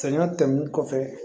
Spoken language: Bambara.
Sɛŋɛn tɛmɛnen kɔfɛ